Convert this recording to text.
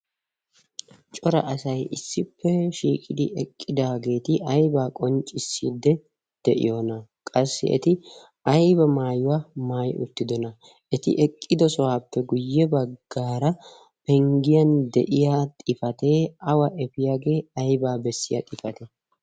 cora asay issippe shiiqidi eqqidaageeti aibaa qonccissidde de'iyoona qassi eti aiba maayuwaa maai uttidona. eti eqqido sohaappe guyye baggaara penggiyan de'iya xifatee awa efiyaagee aibaa bessiya xifate?